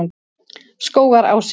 Skógarási